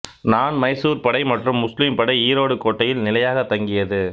னான் மைசூர்ப்படை மற்றும் முஸ்லீம் படை ஈரோடு கோட்டையில் நிலையாகத் தங்கியது